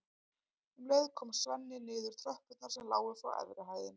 Um leið kom Svenni niður tröppurnar sem lágu frá efri hæðinni.